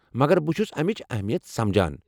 مگر بہٕ چھُس امٕچ اہمیت سمجان۔